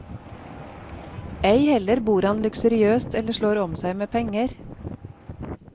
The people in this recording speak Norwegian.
Ei heller bor han luksuriøst eller slår om seg med penger.